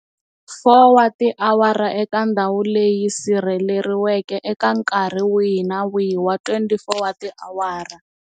4 wa tiawara eka ndhawu leyi sirheleriweke eka nkarhi wihi na wihi wa 24 wa tiawara.